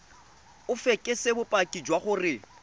o fekese bopaki jwa gore